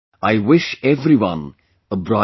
I wish everyone a bright future